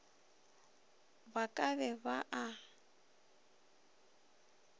ba ka be ba a